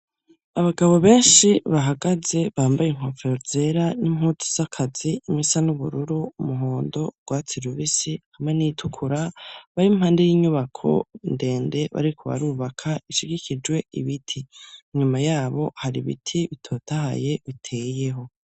Abagabo benshi bahagaze bambaye inkofero zera n'impuzu z'akazi, imwe isa n'ubururu, umuhondo, urwatsi rubisi hamwe n'iyitukura, bari impande y'inyubako ndende bariko barubaka ishigikijwe ibiti, inyuma yabo hari ibiti bitotahaye biteyeho.